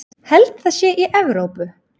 Held það sé í Evrópu.